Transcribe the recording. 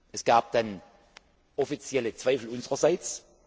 Es gab dann offizielle Zweifel unsererseits.